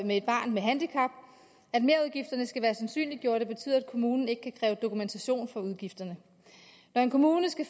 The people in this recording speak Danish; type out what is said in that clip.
med et barn med handicap at merudgifterne skal være sandsynliggjorte betyder at kommunen ikke kan kræve dokumentation for udgifterne når en kommune skal